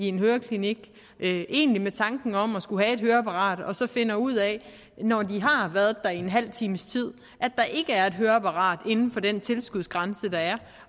en høreklinik egentlig med tanken om at skulle have et høreapparat og så finder ud af når de har været der i en halv times tid at der ikke er et høreapparat inden for den tilskudsgrænse der er